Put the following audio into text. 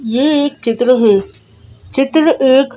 यह एक चित्र है चित्र एक--